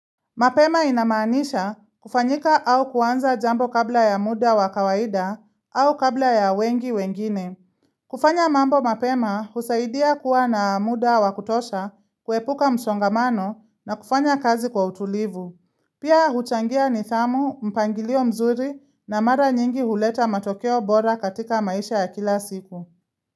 Mapema inamaanisha kufanyika au kuanza jambo kabla ya muda wa kawaida au kabla ya wengi wengine. Kufanya mambo mapema husaidia kuwa na muda wa kutosha, kuepuka msongamano na kufanya kazi kwa utulivu. Pia huchangia nithamu, mpangilio mzuri na mara nyingi huleta matokeo bora katika maisha ya kila siku.